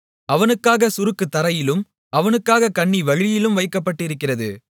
அவனுக்காகச் சுருக்கு தரையிலும் அவனுக்காகக் கண்ணி வழியிலும் வைக்கப்பட்டிருக்கிறது